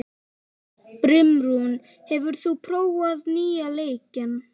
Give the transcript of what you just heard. Brimrún, hefur þú prófað nýja leikinn?